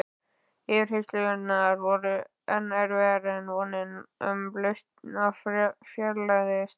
Yfirheyrslurnar voru enn erfiðar og vonin um lausn fjarlægðist.